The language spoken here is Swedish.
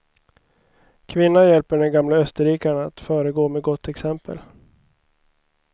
Kvinna hjälper den gamle österrikaren att föregå med gott exempel.